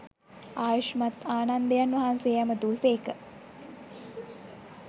ආයුෂ්මත් ආනන්දයන් වහන්සේ ඇමතූ සේක